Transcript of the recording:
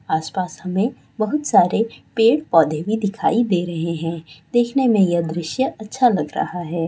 आसपाश हमें बहुत सारे पेड़ पौधे भी दिखाई दे रहे हैं देखने में यह दृश्य अच्छा लग रहा है।